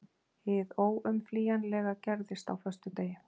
Hið óumflýjanlega gerðist á föstudegi.